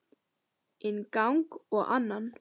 Inn gang og annan.